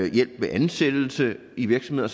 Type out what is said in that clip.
hjælp ved ansættelse i virksomheder